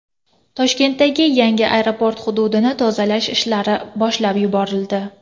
Toshkentdagi yangi aeroport hududini tozalash ishlari boshlab yuborildi.